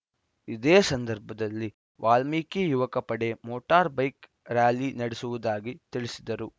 ಇದೇ ಸಂದರ್ಭದಲ್ಲಿ ವಾಲ್ಮೀಕಿ ಯುವಕ ಪಡೆ ಮೋಟಾರ್‌ ಬೈಕ್‌ ರ್ಯಾಲಿ ನಡೆಸುವುದಾಗಿ ತಿಳಿಸಿದರು